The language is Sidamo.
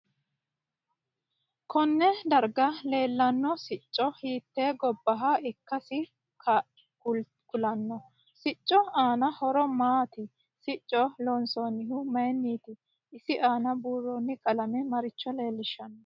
Konne darga leelanno sicci hiite gobbaha ikkasi kulanno siccu aanno horo maati sicco loonsanihu mayiiniti isi aana buurooni qalame maricho leelishanno